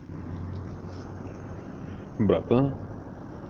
братан